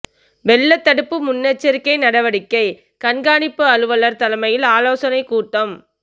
வெள்ளத்தடுப்பு முன்னெச்சரிக்கை நடவடிக்கை கண்காணிப்பு அலுவலா் தலைமையில் ஆலோசனை கூட்டம்